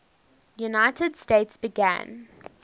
united states began